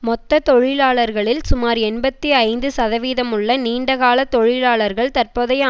மொத்த தொழிலாளர்களில் சுமார் எண்பத்தி ஐந்து சதவீதமுள்ள நீண்டகால தொழிலாளர்கள் தற்போதைய